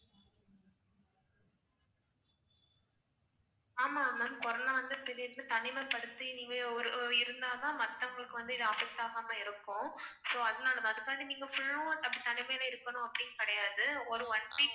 ஆமா ma'am corona வந்து திடீர்னு தனிமைப்படுத்தி நீங்க ஒரு இருந்தாதான் மத்தவங்களுக்கு வந்து இது affect ஆகாம இருக்கும். so அதனாலதான் அதுக்காண்டி நீங்க full லும் தனிமையிலே இருக்கணும் அப்படின்னு கிடையாது. ஒரு one week